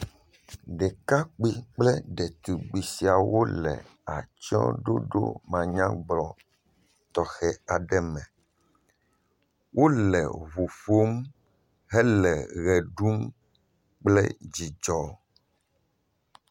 Ɖekakpui kple ɖetugbui siawo le atsyɔ̃ɖoɖo manyagblɔ tɔxɛ aɖe me, wole ŋu ƒom hele ʋe ɖum kple dzidzɔ.